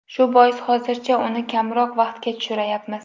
Shu bois hozircha uni kamroq vaqtga tushirayapmiz.